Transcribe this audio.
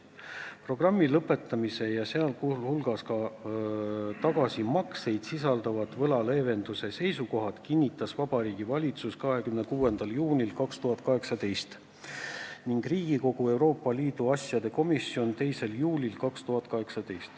Programmi lõpetamise, sh ka tagasimakseid sisaldavad võla leevendamise seisukohad kinnitas Vabariigi Valitsus 26. juunil 2018 ning Riigikogu Euroopa Liidu asjade komisjon 2. juulil 2018.